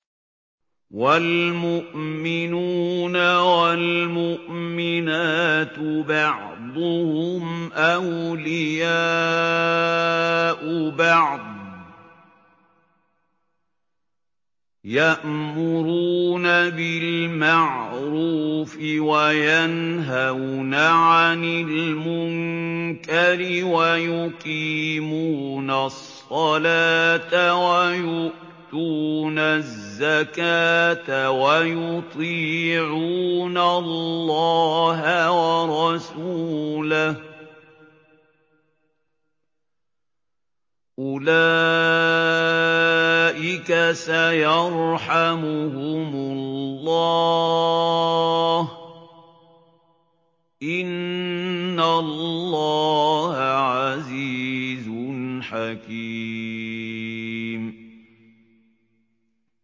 وَالْمُؤْمِنُونَ وَالْمُؤْمِنَاتُ بَعْضُهُمْ أَوْلِيَاءُ بَعْضٍ ۚ يَأْمُرُونَ بِالْمَعْرُوفِ وَيَنْهَوْنَ عَنِ الْمُنكَرِ وَيُقِيمُونَ الصَّلَاةَ وَيُؤْتُونَ الزَّكَاةَ وَيُطِيعُونَ اللَّهَ وَرَسُولَهُ ۚ أُولَٰئِكَ سَيَرْحَمُهُمُ اللَّهُ ۗ إِنَّ اللَّهَ عَزِيزٌ حَكِيمٌ